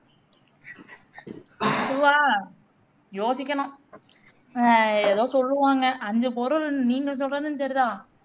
அதுவா யோசிக்கணும் ஆஹ் எதோ சொல்லுவாங்க ஐந்து பொருள் நீங்க சொல்றதும் சரிதான்